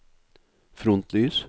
frontlys